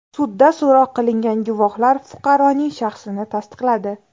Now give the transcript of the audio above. Sudda so‘roq qilingan guvohlar fuqaroning shaxsini tasdiqladi.